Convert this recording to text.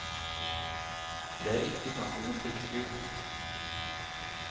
Det er ikke snakk om noe blikkskur.